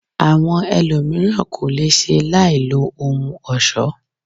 Àwọn ẹlòmíràn ko le ṣe láì lo ohun ọ̀ṣọ.